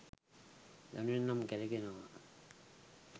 යනුවෙන් නම් කැරෙනවා